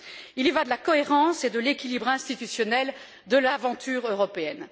Il y va de la cohérence et de l'équilibre institutionnels de l'aventure européenne.